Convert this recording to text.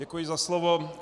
Děkuji za slovo.